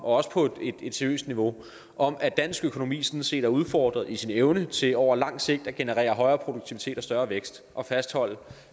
også på et seriøst niveau om at dansk økonomi sådan set er udfordret i sin evne til over lang sigt at generere højere produktivitet og større vækst og fastholde